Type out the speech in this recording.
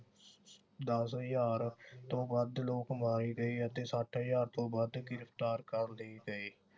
ਦਸ ਹਜਾਰ ਤੋਂ ਵੱਧ ਲੋਕ ਮਾਰੇ ਗਏ ਅਤੇ ਸੱਠ ਹਜਾਰ ਤੋਂ ਵੱਧ ਗ੍ਰਿਫਤਾਰ ਕਰ ਲਏ ਗਏ